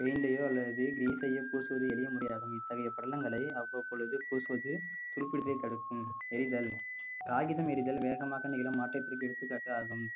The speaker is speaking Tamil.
paint ஐயோ அல்லது grease யோ பூசுவது எளிய முறையாகும் இத்தகைய படலங்களை அவ்வப்பொழுது பூசுவது துரு பிடித்ததை தடுக்கும் எரிதல் காகிதம் எரிதல் வேகமாக நீளும் மாற்றத்திற்கு எடுத்துக்காட்டாகும்